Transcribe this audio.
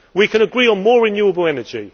We can agree on more renewable energy.